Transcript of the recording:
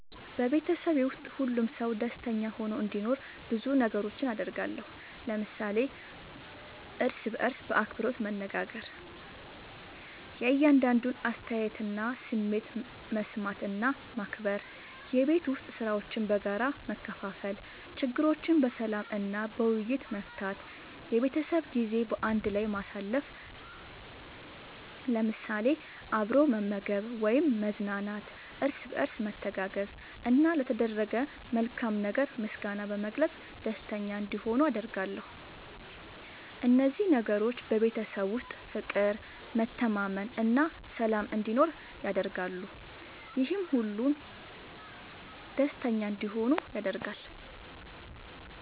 በቤተሰቤ ውስጥ ሁሉም ሰው ደስተኛ ሆኖ እንዲኖር ብዙ ነገሮችን አደርጋለሁ።። ለምሳሌ፦ እርስ በርስ በአክብሮት መነጋገር። የእያንዳንዱን አስተያየትና ስሜት መስማት እና ማክበር፣ የቤት ዉስጥ ሥራዎችን በጋራ መከፋፈል፣ ችግሮችን በሰላም እና በውይይት መፍታት፣ የቤተሰብ ጊዜ በአንድ ላይ ማሳለፍ ለምሳሌ፦ አብሮ መመገብ ወይም መዝናናት፣ እርስ በርስ መተጋገዝ፣ እና ለተደረገ መልካም ነገር ምስጋና በመግለጽ ደስተኛ እንዲሆኑ አደርጋለሁ። እነዚህ ነገሮች በቤተሰብ ውስጥ ፍቅር፣ መተማመን እና ሰላም እንዲኖር ያደርጋሉ፤ ይህም ሁሉም ደስተኛ እንዲሆኑ ያደርጋል።